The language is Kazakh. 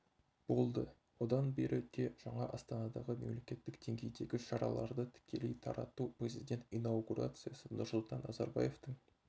болды одан бері де жаңа астанадағы мемлекеттік деңгейдегі шараларды тікелей тарату президент инаугурациясы нұрсұлтан назарбаевтың